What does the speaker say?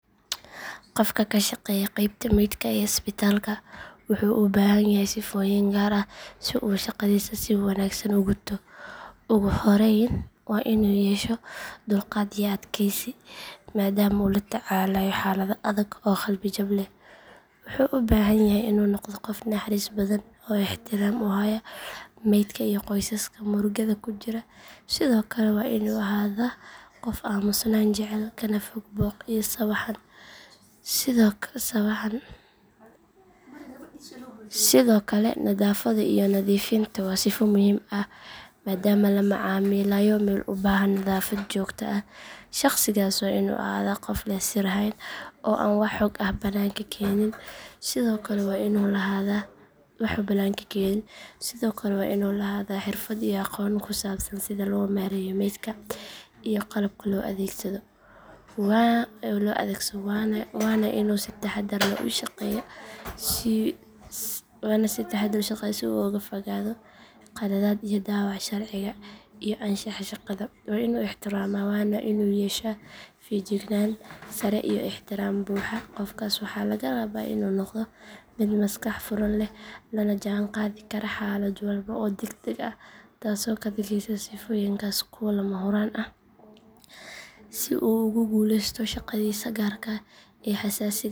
Qof ka shaqeeya qeybta meydka ee isbitaalka wuxuu u baahan yahay sifooyin gaar ah si uu shaqadiisa si wanaagsan u guto ugu horreyn waa inuu yeesho dulqaad iyo adkaysi maadaama uu la tacaalayo xaalado adag oo qalbi jab leh wuxuu u baahan yahay inuu noqdo qof naxariis badan oo ixtiraam u haya maydka iyo qoysaska murugada ku jira sidoo kale waa inuu ahaadaa qof aamusnaan jecel kana fog buuq iyo sawaxan sidoo kale nadaafadda iyo nadiifinta waa sifo muhiim ah maadaama la macaamilayo meel u baahan nadaafad joogto ah shaqsigaasi waa inuu ahaadaa qof leh sir hayn oo aan wax xog ah bannaanka keenin sidoo kale waa inuu lahaadaa xirfad iyo aqoon ku saabsan sida loo maareeyo meydka iyo qalabka loo adeegsado waana inuu si taxaddar leh u shaqeeyaa si uu uga fogaado khaladaad iyo dhaawac sharciga iyo anshaxa shaqada waa inuu ixtiraamaa waana inuu yeeshaa feejignaan sare iyo ixtiraam buuxa qofkaas waxaa laga rabaa inuu noqdo mid maskax furan leh lana jaanqaadi kara xaalad walba oo degdeg ah taasoo ka dhigaysa sifooyinkaas kuwo lama huraan ah si uu ugu guulaysto shaqadiisa gaarka ah ee xasaasiga ah